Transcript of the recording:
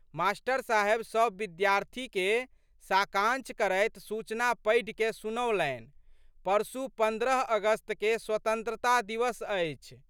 Master साहेब सब विद्यार्थीके साकांक्ष करैत सूचना पढ़िकए सुनौलनि, परसू पन्द्रह अगस्तके स्वतंत्रता दिवस अछि।